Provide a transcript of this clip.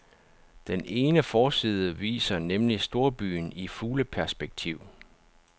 Den ene forside viser nemlig storbyen i fugleperspektiv.